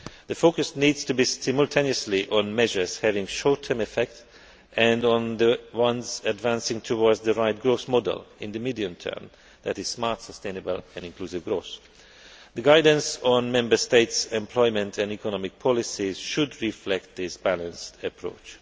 that. The focus needs to be simultaneously on measures having short term effect and on the ones advancing towards the right growth model in the medium term, which is smart, sustainable and inclusive growth. The guidance on Member States' employment and economic policies should reflect this balanced approach.